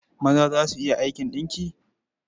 Maza za su iya aikin ɗinki.